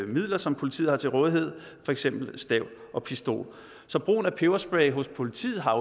midler som politiet har til rådighed for eksempel stav og pistol så brugen af peberspray hos politiet har